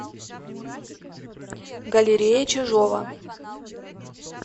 галерея чижова